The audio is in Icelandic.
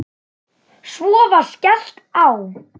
Svo var skellt á.